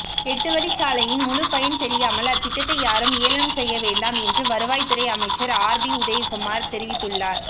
எட்டு வழிச்சாலையின் முழு பலன் தெரியாமல் அத்திட்டத்தை யாறும் ஏழனம் செய்யவேண்டாம் என்று வருவாய்துறை அமைச்சர் ஆர்பி உதயகுமார் தெரிவித்துள்ளார்